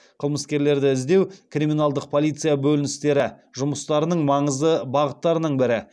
қылмыскерлерді іздеу криминалдық полиция бөліністері жұмыстарының маңызды бағыттарының бірі